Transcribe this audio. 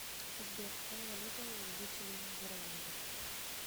сбер какая валюта у жителей нидерландов